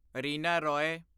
Reena Roy